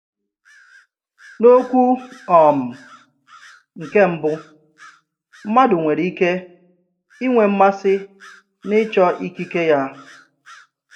N'okwu um nkè mbụ, mmádụ nwèrè ike inwe mmasị n'ịchọ ikike ya.